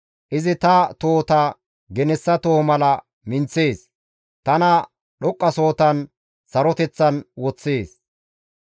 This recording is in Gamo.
Izi ta tohota genessa toho mala minththees; tana dhoqqasohotan saroteththan woththees.